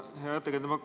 Hea ettekandja!